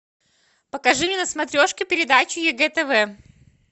покажи мне на смотрешке передачу егэ тв